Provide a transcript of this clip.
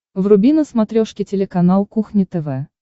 вруби на смотрешке телеканал кухня тв